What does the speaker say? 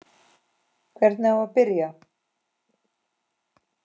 Hvernig á að byrja?